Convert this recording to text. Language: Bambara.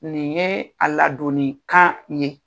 Nin ye a ladonni kan ye